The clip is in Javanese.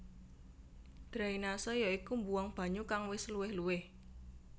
Drainase ya iku mbuwang banyu kang wis luwih luwih